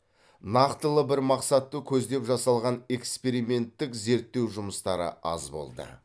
нақтылы бір мақсатты көздеп жасалған эксперименттік зерттеу жұмыстары аз болды